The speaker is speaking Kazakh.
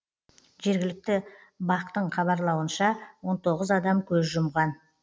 жергілікті бақ тың хабарлауынша он тоғыз адам көз жұмған